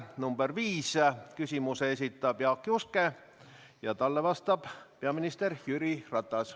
Number 5 küsimuse esitab Jaak Juske ja talle vastab peaminister Jüri Ratas.